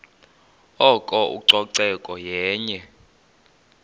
oko ucoceko yenye